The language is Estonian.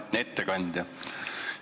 Hea ettekandja!